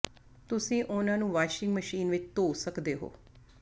ਤੁਸੀਂ ਉਨ੍ਹਾਂ ਨੂੰ ਵਾਸ਼ਿੰਗ ਮਸ਼ੀਨ ਵਿਚ ਧੋ ਸਕਦੇ ਹੋ